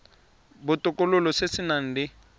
botokololo se se nang le